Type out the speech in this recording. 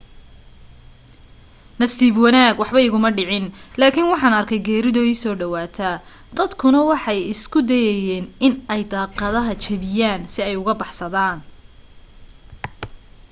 nasiib wanaag waxba iguma dhicin laakin waxaan arkey geerido iiso dhawaate dadkuna waxa ay isku dayaayen in ay daaqadaha jabiyaan si ay uga baxsadaan